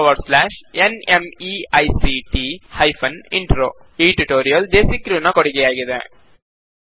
httpspoken tutorialorgNMEICT Intro ಈ tutorial DesiCrew ನ ಕೊಡುಗೆಯಾಗಿದೆ